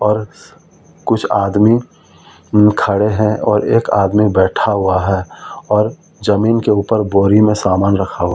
और कुछ आदमी खड़े हैं और एक आदमी बैठा हुआ है और जमीन के ऊपर बोरी में समान रखा हू--